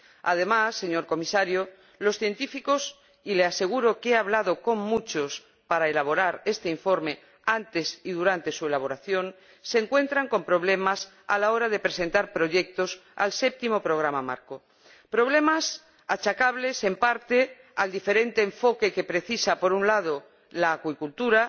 Además, señor Comisario, los científicos —y le aseguro que he hablado con muchos para elaborar este informe, antes y durante su elaboración— se encuentran con problemas a la hora de presentar proyectos al Séptimo Programa Marco problemas achacables, en parte, al diferente enfoque que precisa, por un lado, la acuicultura,